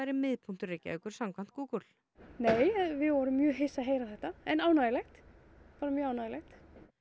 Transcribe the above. miðpunktur Reykjavíkur samkvæmt Google nei við vorum mjög hissa að heyra þetta en ánægjulegt bara mjög ánægjulegt